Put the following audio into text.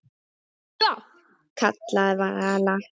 Stopp, kallaði Vala.